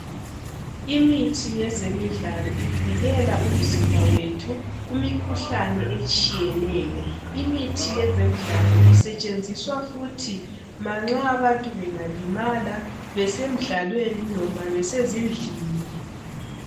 Imithi yezemidlalo ivikela umzimba wethu kumikhuhlane etshiyeneyo. Imithi yezemidlalo isetshenziswa futhi manxa abantu bengalimala besemidlalweni noma besezindlini.